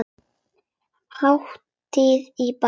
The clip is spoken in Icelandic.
Hátíð í bæ